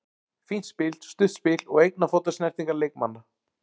Fínt spil, stutt spil og einna fóta snertingar leikmanna.